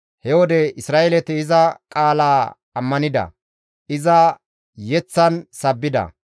He wode Isra7eeleti iza qaala ammanida; iza yeththan sabbida.